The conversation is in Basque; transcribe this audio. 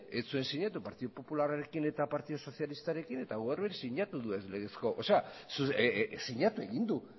ez zuen sinatu partidu popularrarekin eta partidu sozialistarekin eta gaur sinatu du ez legezko sinatu egin du